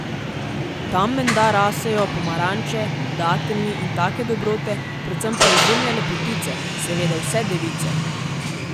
Tam menda rasejo pomaranče, dateljni in take dobrote, predvsem pa izjemne lepotice, seveda vse device.